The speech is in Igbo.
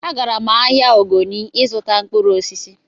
Agara m ahịa Ogoni ịzụta mkpụrụ osisi